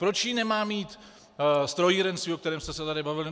Proč ji nemá mít strojírenství, o kterém jsme se tady bavili.